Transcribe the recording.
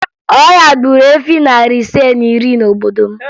Ọya gburu efi narị ise na iri n'obodo m